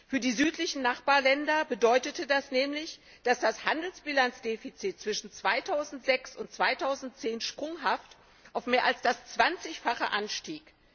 Für die südlichen Nachbarländer bedeutete das nämlich, dass das Handelsbilanzdefizit zwischen 2006 und 2010 sprunghaft auf mehr als das Zwanzigfache anstieg.